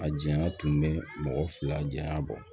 A janya tun bɛ mɔgɔ fila janya bɔ